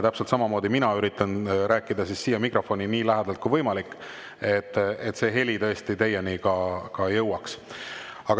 Täpselt samamoodi üritan mina rääkida siin mikrofonile nii lähedal kui võimalik, et heli tõesti teieni jõuaks.